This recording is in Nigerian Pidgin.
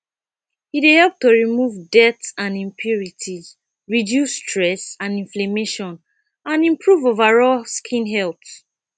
e dey help to remove dirt and impurities reduce stress and imflammation and improve overall skin health